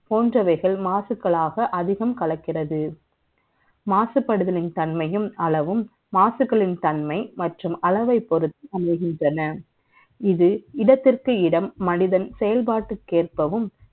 போன்றவைகள் மாசுக்களாக அதிகம் கலக்கிறது மாசுபடுதல் தன்மையும் அளவும் மாசுக்களின் தன்மை மற்றும் அளவைப் பொறுத்து அமைகின்றன இது இடத்துக்கு இடம் மனிதன் செயல்பாட்டுக் எர்பவும்